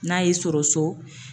N'a y'i sɔrɔ so